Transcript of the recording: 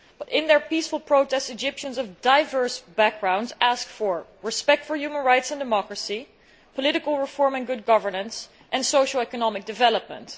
In their peaceful protests Egyptians of diverse backgrounds ask for respect for human rights and democracy, political reform and good governance, and socio economic development.